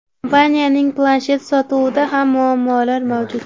Kompaniyaning planshet sotuvida ham muammolar mavjud.